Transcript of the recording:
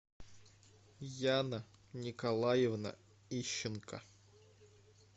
яна николаевна ищенко